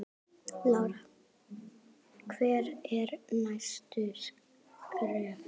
Lára: Hver eru næstu skerf?